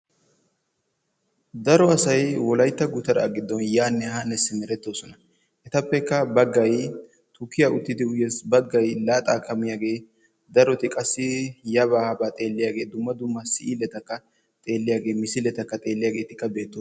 Daro asay wolaytta gutaraa giddon yaanne haa simerettoosona. Etapekka baggay tukkiyaa uttidi uyees baggay laaxxaaka mees. Darotii qassi yabaa habaa xeelliyaageti dumma dumma siiletakka xeeliyaageti misletaka xeelliyaagetikka beettoosona.